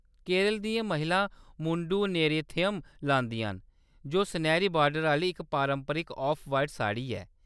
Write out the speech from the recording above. केरल दियां महिलां मुंडुम नेरियथम लांदियां न, जो सनैह्‌री बार्डर आह्‌‌‌ली इक पारंपरिक ऑफ-व्हाइट साड़ी ऐ।